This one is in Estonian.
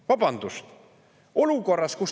Vabandust!